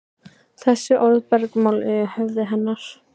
Þessi orð bergmáluðu í höfði hennar.